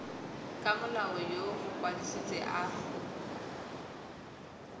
ka molao yo mokwadise a